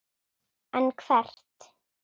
En hvert?